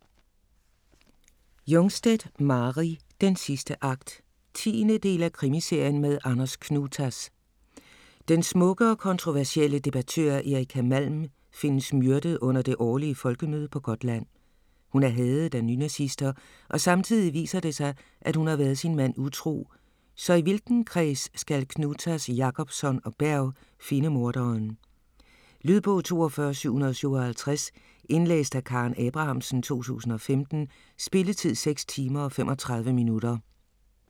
Jungstedt, Mari: Den sidste akt 10. del af Krimiserien med Anders Knutas. Den smukke og kontroversielle debattør Erika Malm findes myrdet under det årlige folkemøde på Gotland. Hun er hadet af nynazister og samtidig viser det sig, at hun har været sin mand utro - så i hvilken kreds skal Knutas, Jacobsson og Berg finde morderen? Lydbog 42757 Indlæst af Karen Abrahamsen, 2015. Spilletid: 6 timer, 35 minutter.